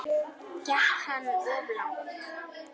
Gekk hann of langt?